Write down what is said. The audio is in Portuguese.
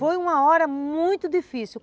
Foi uma hora muito difícil.